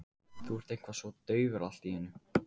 Þú ert eitthvað svo daufur allt í einu.